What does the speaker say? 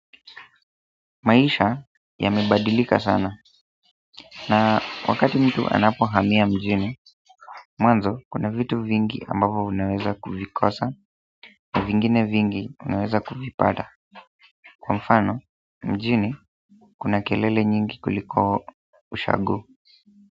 Maisha yamebadilika sana wakati mtu anapohamia mjini, mwanzo kuna vitu vingi ambavo unaweza kuvikosa, na vingine vingi unaweza kuvipata kwa mfano, mjini kuna kelele nyingi kuliko ushago.